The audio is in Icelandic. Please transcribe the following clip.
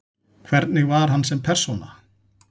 Hvernig var hann sem persóna?